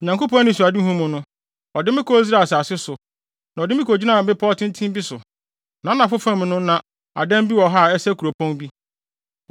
Onyankopɔn anisoadehu mu no, ɔde me kɔɔ Israel asase so, na ɔde me kogyinaa bepɔw tenten bi so; nʼanafo fam no na adan bi wɔ hɔ a ɛsɛ kuropɔn bi.